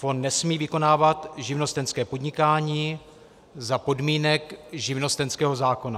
Fond nesmí vykonávat živnostenské podnikání za podmínek živnostenského zákona.